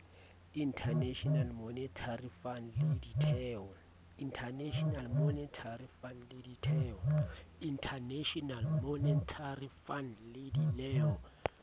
international monetary fund le ditheo